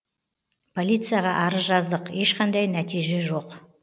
полицияға арыз жаздық ешқандай нәтиже жоқ